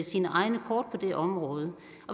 sine egne kort af det område